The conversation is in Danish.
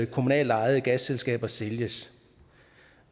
kommunalt ejede gasselskaber sælges